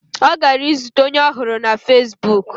Ọ gara izute onye ọ hụrụ na fezbuk.